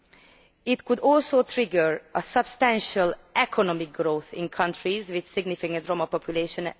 This could also trigger substantial economic growth in countries with significant Roma populations.